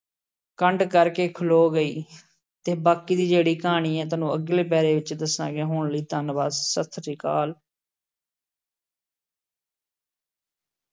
ਕੰਡ ਕਰ ਕੇ ਖਲੋ ਗਈ ਅਤੇ ਬਾਕੀ ਦੀ ਜਿਹੜੀ ਕਹਾਣੀ ਹੈ ਤੁਹਾਨੂੰ ਅਗਲੇ ਪਹਿਰੇ ਵਿੱਚ ਦੱਸਾਂਗੇ, ਹੁਣ ਲਈ ਧੰਨਵਾਦ, ਸਤਿ ਸ਼੍ਰੀ ਅਕਾਲ।